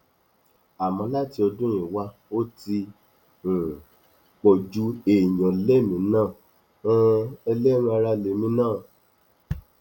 àmọ láti ọdún yìí wà ó ti um ń pọ ju èèyàn lèmi náà um ẹlẹran ara lèmi náà